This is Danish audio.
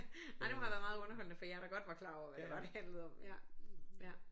Ej det må have været meget underholdende for jer der godt var klar over hvad det var det handlede om ja ja